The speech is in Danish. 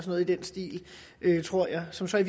noget i den stil tror jeg som så i